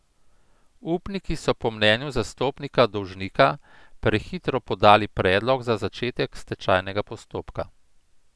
Upniki so po mnenju zastopnika dolžnika prehitro podali predlog za začetek stečajnega postopka.